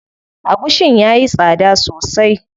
Agushin yayi tsada sosai.